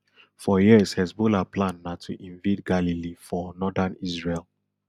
for years hezbollah plan na to invade galilee for northern israel